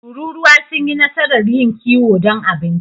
Tururuwa sun yi nasarar yin kiwo don abinci.